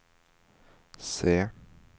C